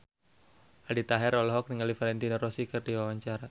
Aldi Taher olohok ningali Valentino Rossi keur diwawancara